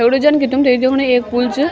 दगड़ियो जन के तुम्थे यु दिखणु एक पुल च।